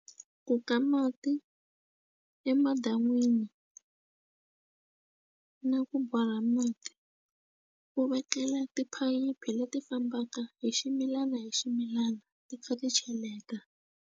Ku ka mati emadan'wini na ku borha mati u vekela tiphayiphi leti fambaka hi ximilana hi ximilana ti kha ti cheleta.